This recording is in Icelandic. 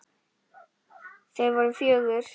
Þau voru fjögur.